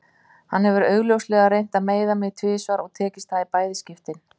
Hann hefur augljóslega reynt að meiða mig tvisvar og tekist það í bæði skiptin.